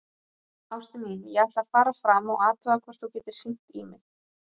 Ástin mín, ég ætla að fara fram og athuga hvort þú getir hringt í mig.